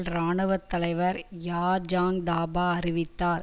இராணுவ தலைவர் யார் ஜங் தபா அறிவித்தார்